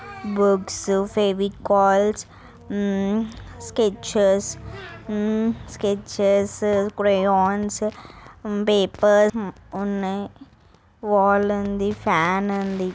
Books Fevicols um sketches um sketches crayons um paper uh ఉన్నాయ్. Wall ఉంది fan --